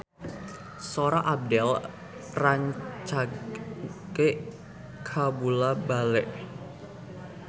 Sora Abdel rancage kabula-bale